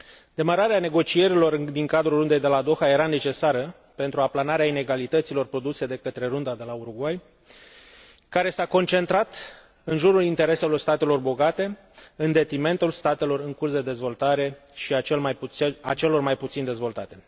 Demararea negocierilor din cadrul Rundei de la Doha era necesară pentru aplanarea inegalităților produse de către Runda de la Uruguay, care s a concentrat în jurul intereselor statelor bogate, în detrimentul statelor în curs de dezvoltare și al celor mai puțin dezvoltate.